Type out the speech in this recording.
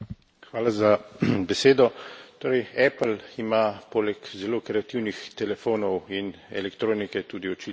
Apple ima poleg zelo kreativnih telefonov in elektronike tudi očitno zelo kreativne računovodje.